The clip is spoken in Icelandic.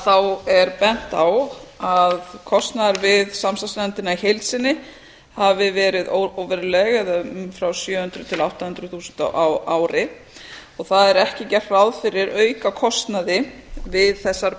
þá er bent á að kostnaður við samstarfsnefndina í heild sinni hafi verið óveruleg eða frá sjö hundruð til átta hundruð þúsund krónur á ári og það er ekki gert ráð fyrir aukakostnaði við þessar